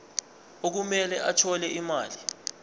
okumele athole imali